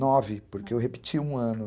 Nove, porque eu repeti um ano.